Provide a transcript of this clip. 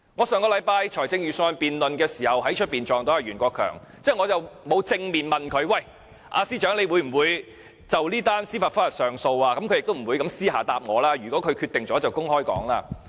上星期辯論預算案的時候，我遇到袁國強司長，我沒有正面問他會否就這宗司法覆核提出上訴，他當然不會私下回答我，如果決定了他就會公布。